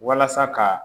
Walasa ka